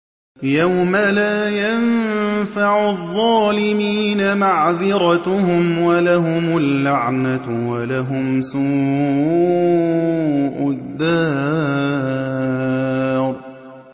يَوْمَ لَا يَنفَعُ الظَّالِمِينَ مَعْذِرَتُهُمْ ۖ وَلَهُمُ اللَّعْنَةُ وَلَهُمْ سُوءُ الدَّارِ